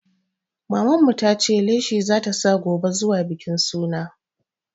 Maman mu ta ce leshi za ta sa gobe zuwa bikin suna.